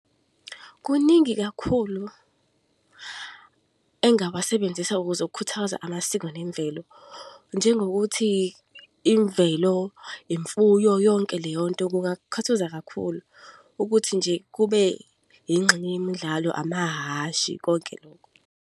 Kuningi kakhulu engawasebenzisa ukuze ukukhuthaza amasiko nemvelo. Njengokuthi imvelo, imfuyo, yonke leyo nto kungakuthaza kakhulu ukuthi nje kube inxenye yemidlalo, amahhashi, konke lokho.